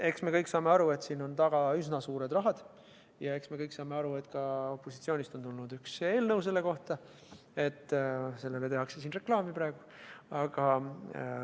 Eks me kõik saame aru, et siin on taga üsna suured rahad, ja eks me kõik saame aru, et kuna opositsioonist on tulnud üks eelnõu selle kohta, siis tehakse sellele siin praegu reklaami.